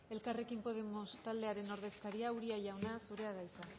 elkarrekin podemos taldearen ordezkaria uria jauna zurea da hitza